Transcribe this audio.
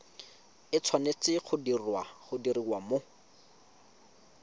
e tshwanetse go diriwa mo